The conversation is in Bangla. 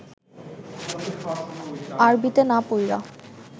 আরবিতে না পইড়া